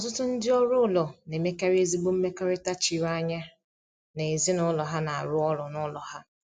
Ọtụtụ ndị ọrụ ụlọ na-emekarị ezigbo mmekọrịta chiri anya na ezinụlọ ha na-arụ ọrụ n’ụlọ ha.